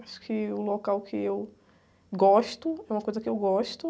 Acho que o local que eu gosto, é uma coisa que eu gosto.